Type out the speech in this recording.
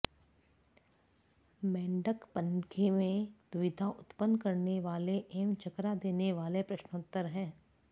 मेण्डकपञ्द्ये में दुविधा उत्पन्न करने वाले एवं चकरा देने वाले प्रश्नोत्तर हैं